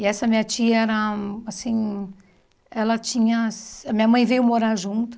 E essa minha tia era assim... Ela tinha... A minha mãe veio morar junto.